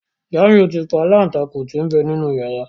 Jamiu tí pa Aláǹtakùn tí n'be nínú yàrá.